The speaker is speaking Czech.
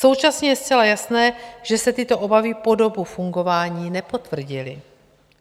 Současně je zcela jasné, že se tyto obavy po dobu fungování nepotvrdily.